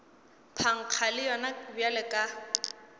phankga le yona bjalo ka